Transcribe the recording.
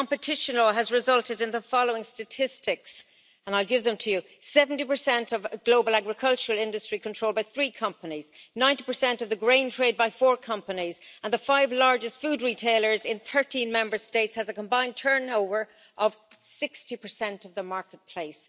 Competition law has resulted in the following statistics, and I'll give them to you 70 of global agricultural industry controlled by three companies, 90 of the grain trade by four companies, and the five largest food retailers in 13 Member States have a combined turnover of 60 of the marketplace.